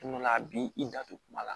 Tuma dɔ la a b'i i da to kuma la